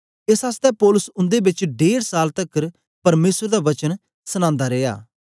एस आसतै पौलुस उन्दे बेच डेढ़ साल तकर परमेसर दा वचन सनांदा रिया